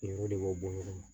de b'o bɔ ɲɔgɔn na